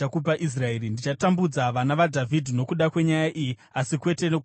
Ndichatambudza vana vaDhavhidhi nokuda kwenyaya iyi, asi kwete nokusingaperi.’ ”